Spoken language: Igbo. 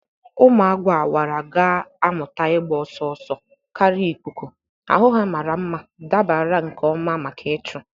Ụmụ agu awara ga-amụta ịgba ọsọ ọsọ karịa ikuku, ahụ ha mara mma dabara nke ọma maka ịchụ.